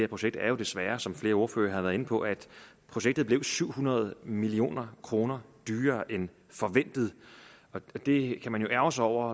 projekt er jo desværre som flere ordførere har været inde på at projektet blev syv hundrede million kroner dyrere end forventet og det kan man jo ærgre sig over